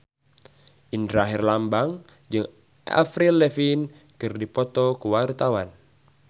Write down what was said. Indra Herlambang jeung Avril Lavigne keur dipoto ku wartawan